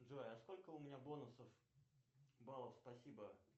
джой а сколько у меня бонусов баллов спасибо